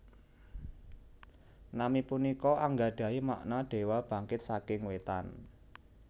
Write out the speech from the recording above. Nami punika anggadhahi makna Dewa Bangkit saking Wétan